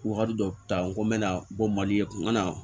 Wagati dɔ ta n ko n bɛna bɔ mali kun ka na